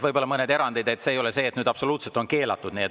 Võivad olla mõned erandid, ei ole nii, et on absoluutselt keelatud.